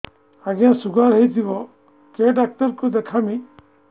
ଆଜ୍ଞା ଶୁଗାର ହେଇଥିବ କେ ଡାକ୍ତର କୁ ଦେଖାମି